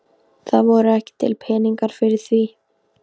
Það voru ekki til peningar fyrir því.